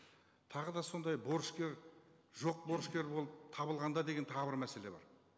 тағы да сондай борышкер жоқ борышкер болып табылғанда деген тағы бір мәселе бар